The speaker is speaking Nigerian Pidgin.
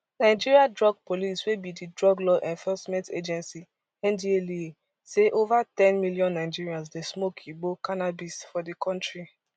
nigeria drug police wey be di drug law enforcement agency ndlea say over ten million nigerians dey smoke igbo cannabis for di kontri